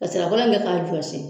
Ka nsira kolo in k'a jɔsi